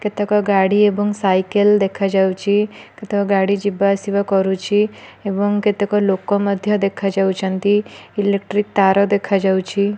କେତେକ ଗାଡି ଏବଂ ସାଇକେଲ ଦେଖାଯାଉଛି। କେତକ ଗାଡି ଯିବା ଆସିବା କରୁଛି। ଏବଂ କେତେକ ଲୋକ ମଧ୍ୟ ଦେଖ ଯାଉଛନ୍ତି। ଇଲେକ୍ଟ୍ରି ତାର ଦେଖା ଯାଉଛି।